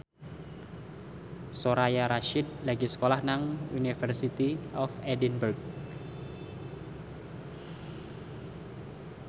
Soraya Rasyid lagi sekolah nang University of Edinburgh